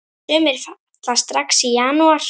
Sumir falla strax í janúar.